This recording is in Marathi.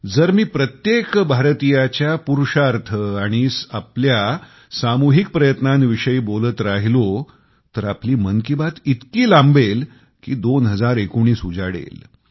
जर मी प्रत्येक भारतीयाच्या पुरुषार्थ आपल्या सामुहिक प्रयत्नांविषयी बोलत राहिलो तर आपली मन की बात इतकी लांबेल कि 2019 उजाडेल